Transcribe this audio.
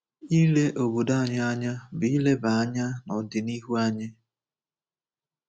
Ile obodo anyị anya bụ ileba anya n’ọdịnihu anyị.